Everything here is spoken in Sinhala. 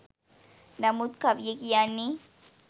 නමුත් කවිය කියන්නේ